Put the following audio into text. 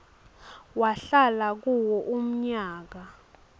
wahlala kuwo umnyaka